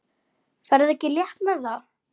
Ferðu ekki létt með það?